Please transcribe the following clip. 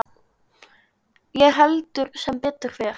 Ég held sem betur fer.